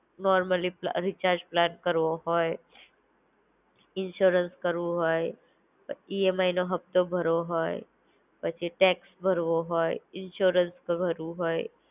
Normally પ્લા recharge plan કરવો હોય, ઇન્શ્યોરન્સ ભરવું હોય, અ ઈએમઆઈ નો હફતો ભરવો હોય. પછી ટેક્સ ભરવો હોય, ઇન્શ્યોરન્સ ભરવું હોય